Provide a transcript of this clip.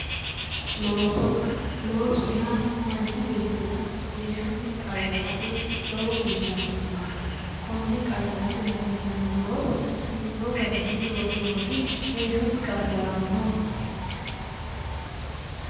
Looso. Loosu yaa manchi beettira heeshshosi qayyarate lowo geeshsha hasiisanno. Konne qayyarate hasiisanno looso hiittoo garinni loosirooti heeshshosi qayyarannohu?